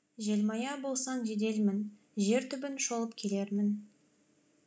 желмая болсаң жеделмін жер түбін шолып келермін